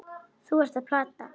Þú ert að plata.